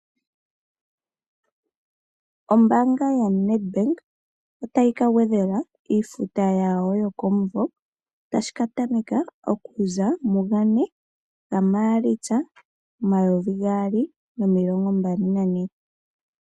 Ombaanga ya Ned Bank otayi ka gwedhela iifuta yawo yokomumvo tashi ka tameka okuza mugane ga maalitsa omayovi gaali nomilongo mbali nane.